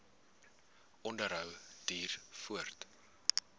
onderhou duur voort